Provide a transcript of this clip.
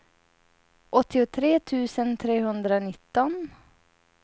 åttiotre tusen trehundranitton